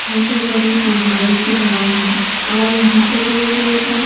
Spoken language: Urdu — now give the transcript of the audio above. .چھوٹے بدی پہاڑے کی ترہ ہیں اور یہا پی دور دور تک